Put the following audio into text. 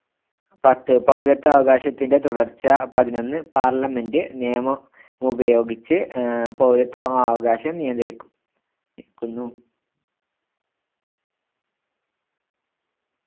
പത്ത് പൗരത്വാവകാശത്തിന്റെ തുടർച്ച പതിനൊന്ന് parliament നിയമമുപയോഗിച്ച്‌ ആഹ് പൗരത്വാവകാശം നിയന്ത്രിക്കും ക്കുന്നു